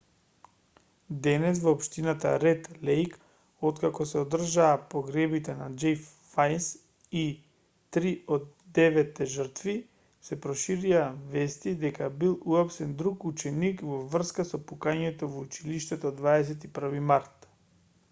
денес во општината ред лејк откако се одржаа погребите на џеф вајс и три од деветте жртви се проширија вести дека бил уапсен друг ученик во врска со пукањето во училиштето од 21 март